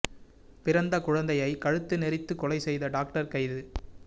பிறந்த குழந்தையை கழுத்தி நெறித்து கொலை செய்த டாக்டர் கைது